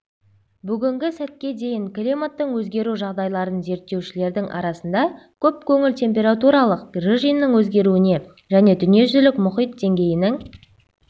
бүгінгі сәтке дейін климаттың өзгеру жағдайларын зерттеушілердің арасында көп көңіл температуралық режимнің өзгеруіне және дүниежүзілік мұхит деңгейінің